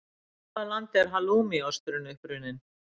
Í hvaða landi er halloumi osturinn uppruninn?